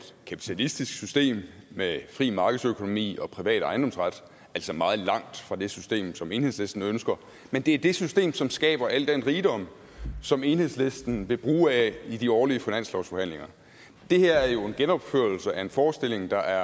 kapitalistisk system med fri markedsøkonomi og privat ejendomsret altså meget langt fra det system som enhedslisten ønsker men det er det system som skaber al den rigdom som enhedslisten vil bruge af i de årlige finanslovsforhandlinger det her er jo en genopførelse af en forestilling der